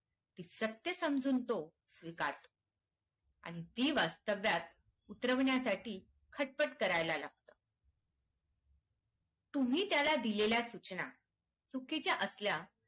सत्य समजून तो स्वीकारतो आणि ती वास्तव्यात उतरवण्यासाठी खटपट करायला लागत तुमि त्याला दिलेल्या सूचना चिकीचा